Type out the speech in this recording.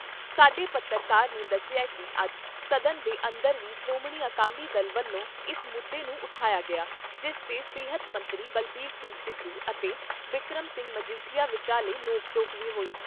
ਸਾਡੇ ਪੱਤਰਕਾਰ ਨੇ ਦੱਸਿਆ ਕਿ ਅੱਜ ਸਦਨ ਦੇ ਅੰਦਰ ਵੀ ਸ਼੍ਰੋਮਣੀ ਅਕਾਲੀ ਦਲ ਵੱਲੋਂ ਇਸ ਮੁੱਦੇ ਨੂੰ ਉਠਾਇਆ ਗਿਆ ਜਿਸ ਤੇ ਸਿਹਤ ਮੰਤਰੀ ਬਲਬੀਰ ਸਿੰਘ ਸਿੱਧੂ ਅਤੇ ਬਿਕਰਮ ਸਿੰਘ ਮਜੀਠੀਆ ਵਿਚਾਲੇ ਨੋਕ ਝੋਕ ਵੀ ਹੋਈ।